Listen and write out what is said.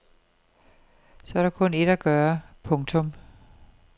Så er der kun ét at gøre. punktum